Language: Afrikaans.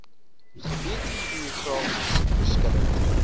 gebied geografies verskillend